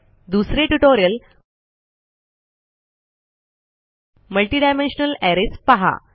दुसरे tutorial multidimensional arrays पहा